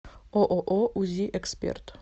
ооо узи эксперт